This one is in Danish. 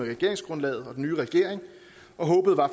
med